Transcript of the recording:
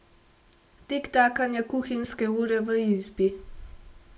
Tiktakanje kuhinjske ure v izbi.